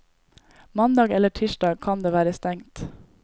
Mandag eller tirsdag kan det være stengt.